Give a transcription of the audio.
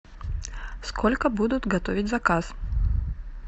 сколько будут готовить заказ